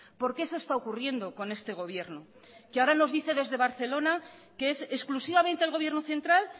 porque eso está ocurriendo con este gobierno que ahora nos dice desde barcelona que es exclusivamente el gobierno central